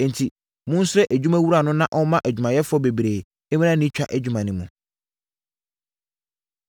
Enti, monsrɛ adwumawura no na ɔmma adwumayɛfoɔ bebree mmra ne twa adwuma no mu.”